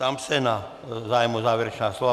Ptám se na zájem o závěrečná slova.